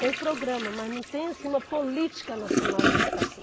Tem programa, mas não tem assim uma política nacional de habitação.